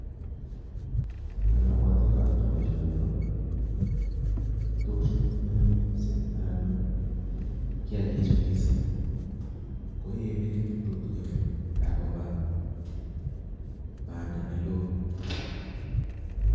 Ne obwoten ndoker boishoni ko tukchu missing anan kiyakik chuu missing kii ko yee beek tukukin ak koba panda neko.